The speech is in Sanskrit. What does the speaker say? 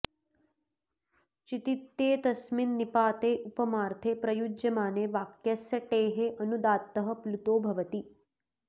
चितित्येतस्मिन् निपाते उपमार्थे प्रयुज्यमाने वाक्यस्य टेः अनुदात्तः प्लुतो भवति